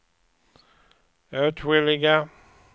åtskilliga